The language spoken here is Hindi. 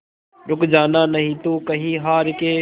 रुक जाना नहीं तू कहीं हार के